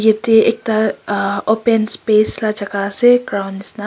yete ekta uhh open space la jaga ase ground nishina.